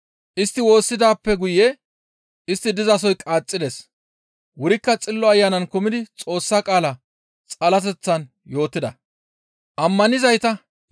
Istti woossidaappe guye istti dizasoy qaaxxides; wurikka Xillo Ayanan kumidi Xoossa qaala xalateththan yootida.